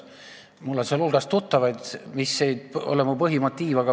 Mul on nende arstide hulgas tuttavaid, aga see ei ole mu põhimotiiv.